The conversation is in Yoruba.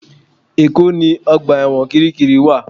Èkó ni ọgbà ẹ̀wọ̀n Kiríkirì wà